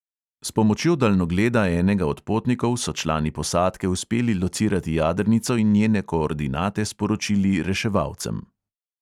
S pomočjo daljnogleda enega od potnikov so člani posadke uspeli locirati jadrnico in njene koordinate sporočili reševalcem.